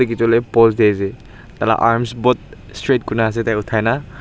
edu hoilae post diase tai la arms both straight kurina ase tai uthaina.